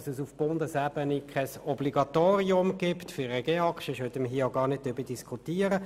Auf Bundesebene gibt es kein Obligatorium für den GEAK, sonst würden wir hier gar nicht darüber diskutieren.